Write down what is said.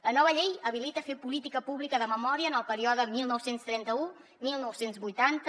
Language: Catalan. la nova llei habilita fer política pública de memòria en el període dinou trenta u dinou vuitanta